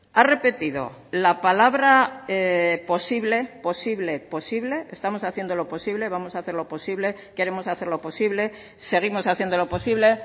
ha repetido la palabra posible posible posible estamos haciendo lo posible vamos a hacer lo posible queremos hacer lo posible seguimos haciendo lo posible